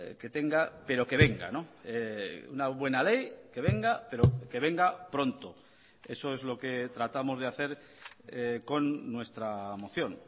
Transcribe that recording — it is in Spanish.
que tenga pero que venga una buena ley que venga pero que venga pronto eso es lo que tratamos de hacer con nuestra moción